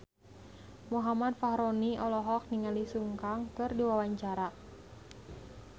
Muhammad Fachroni olohok ningali Sun Kang keur diwawancara